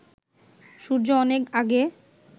সূর্য অনেক আগে